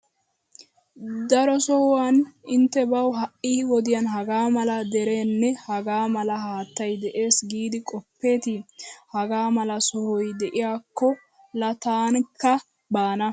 Daro sohuwan intte bawu ha"i wodiyan hagaa mala dereenne hagaa mala haattay de'ees giidi qoppeetii! Hagaa mala sohoy de'iyakko laa tankka baana!